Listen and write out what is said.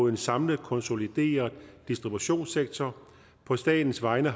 en samlet konsolideret distributionssektor på statens vegne